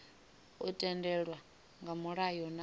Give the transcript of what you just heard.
u tendelwa nga mulayo na